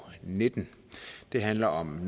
nitten det handler om